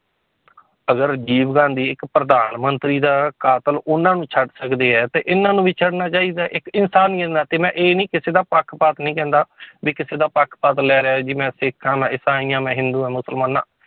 ਅਗਰ ਰਾਜੀਵ ਗਾਂਧੀ ਇੱਕ ਪ੍ਰਧਾਨ ਮੰਤਰੀ ਦਾ ਕਾਤਿਲ ਉਹਨਾਂ ਨੂੰ ਛੱਡ ਸਕਦੇ ਹੈ ਤੇ ਇਹਨਾਂ ਨੂੰ ਵੀ ਛੱਡਣਾ ਚਾਹੀਦਾ ਹੈ, ਇੱਕ ਇਨਸਾਨੀਅਤ ਦੇ ਨਾਤੇ ਮੈਂ ਇਹ ਨੀ ਕਿਸੇ ਦਾ ਪੱਖਪਾਤ ਨੀ ਕਹਿੰਦਾ ਵੀ ਕਿਸੇ ਦਾ ਪੱਖਪਾਤ ਲੈ ਰਿਹਾ ਜੀ ਮੈਂ ਸਿੱਖ ਹਾਂ, ਮੈਂ ਇਸਾਈ, ਹਾਂ ਮੈਂ ਹਿੰਦੂ ਹਾਂ, ਮੁਸਲਮਾਨ ਹਾਂ।